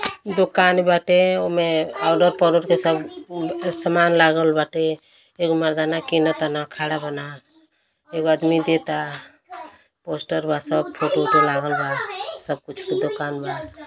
दुकान बाटे ओमें औडर - पौडर के सब सामान लागल बाटे। एक मर्दांना किना ताना खड़ा बाना एगो आदमी देता। पोस्टरवा सब फोटू - ओटू लागल बा। सब कुछ क दुकान बा।